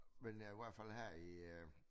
Men i hvert fald her i øh